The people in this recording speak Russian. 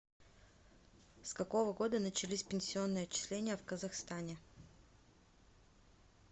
с какого года начались пенсионные отчисления в казахстане